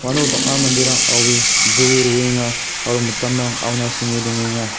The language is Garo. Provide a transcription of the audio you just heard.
uano bang·a manderang aue jroe roenga aro mitamrang auna senge dongenga.